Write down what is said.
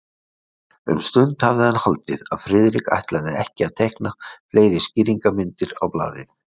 Um stund hafði hann haldið, að Friðrik ætlaði ekki að teikna fleiri skýringarmyndir á blaðið.